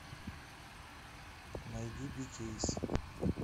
найди би кейс